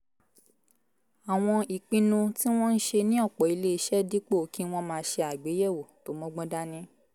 àwọn ìpinnu tí wọ́n ń ṣe ní ọ̀pọ̀ iléeṣẹ́ dípò kí wọ́n máa ṣe àgbéyẹ̀wò tó mọ́gbọ́n dání